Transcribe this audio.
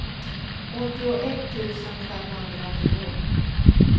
åttioett tusen femhundranio